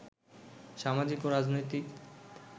সামাজিক ও রাজনৈতিক